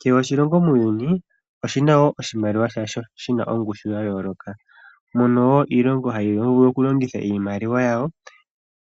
Kehe oshilongo muuyuni oshina wo oshimaliwa shasho shina ongushu ya yooloka. Mono wo iilongo hayi vulu okulongitha iimaliwa yawo